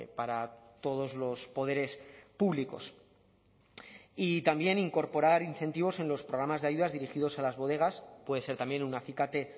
para todos los poderes públicos y también incorporar incentivos en los programas de ayudas dirigidos a las bodegas puede ser también un acicate